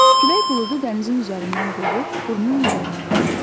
Külək buludu dənizin üzərindən qovub qurunun üzərinə gətirdi.